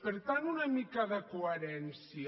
per tant una mica de coherència